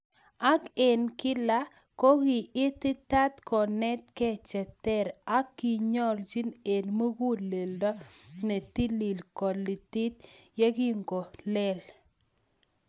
ak eng kilak kogi ititaat konetke cheter ,ak kiiyonjin eng muguleldo netilil kelitit yegingolel